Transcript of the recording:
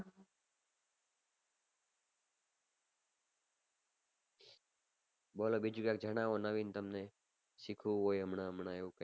બોલો બીજી કોઈ જણાવો નવીન તમને સીખ્યું હોય એમાં એમાં એમ